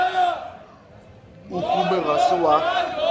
o hume ga se wa